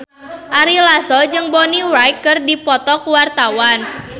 Ari Lasso jeung Bonnie Wright keur dipoto ku wartawan